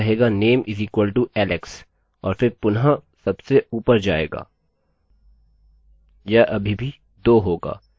यह अभी भी 2 होगा इसका मतलब लूप loop कोड के इस ब्लाक में फँसा है